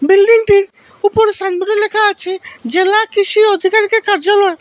বিল্ডিংটির উপরে সাইন বোর্ডে লেখা আছে জেলা কৃষি অধিকারিকের কার্যালয়।